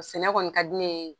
Sɛnɛ kɔni ka di ne ye.